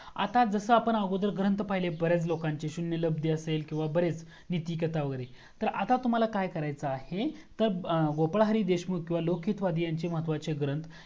आता जसा आपण अगोदर ग्रंथ पहिले बर्‍याच लोकांचे शून्य लब्दी असेल बरेच किव्हा नीतीकथा वगेरे तर आता तुम्हाला काय करायचा आहे तर गोपाल हरी देशमुख किवा लोक हित वादी यांचे महत्वाचे ग्रंथ